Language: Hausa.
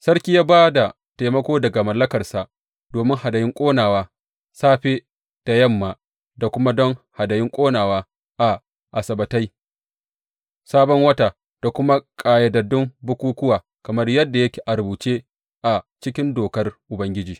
Sarki ya ba da taimako daga mallakarsa domin hadayun ƙonawa, safe da yamma da kuma don hadayun ƙonawa a Asabbatai, Sabon Wata da kuma ƙayyadaddun bukukkuwa kamar yadda yake a rubuce a cikin Dokar Ubangiji.